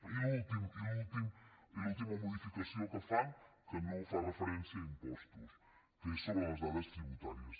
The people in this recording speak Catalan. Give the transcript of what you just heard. i l’última modificació que fan que no fa referència a impostos que és sobre les dades tributàries